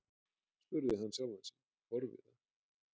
spurði hann sjálfan sig forviða.